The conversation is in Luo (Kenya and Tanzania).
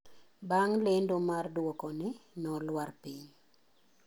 Bang' lendo mar duokone, no luar piny.